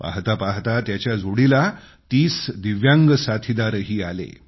पाहता पाहता त्याच्या जोडीला 30 दिव्यांग साथीदारही आले